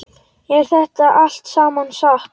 Er þetta allt saman satt?